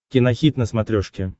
кинохит на смотрешке